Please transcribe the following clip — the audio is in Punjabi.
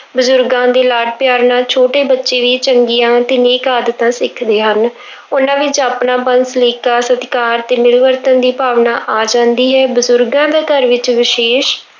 ਬਜ਼ੁਰਗਾਂ ਦੇ ਲਾਡ ਪਿਆਰ ਨਾਲ ਛੋਟੇ ਬੱਚੇ ਵੀ ਚੰਗੀਆਂ ਤੇ ਨੇਕ ਆਦਤਾਂ ਸਿੱਖਦੇ ਹਨ ਉਹਨਾਂ ਵਿੱਚ ਆਪਣਾਪਨ, ਸਲੀਕਾ, ਸਤਿਕਾਰ ਤੇ ਮਿਲਵਰਤਨ ਦੀ ਭਾਵਨਾ ਆ ਜਾਂਦੀ ਹੈ, ਬਜ਼ੁਰਗਾਂ ਦਾ ਘਰ ਵਿੱਚ ਵਿਸ਼ੇਸ਼